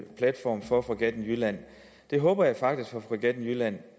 platform for fregatten jylland det håber jeg faktisk for fregatten jylland